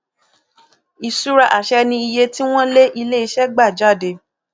ìṣura àṣẹ ni iye tí wọn lé iléiṣẹ gba jáde